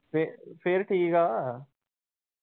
ਫਿਰ, ਫਿਰ ਠੀਕਾ ਆ ।